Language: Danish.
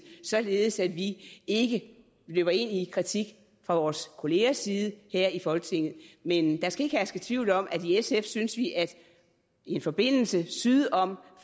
således at vi ikke løber ind i kritik fra vores kollegers side her i folketinget men der skal ikke herske tvivl om at i sf synes vi at en forbindelse syd om